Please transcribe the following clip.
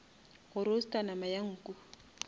go roaster nama ya nku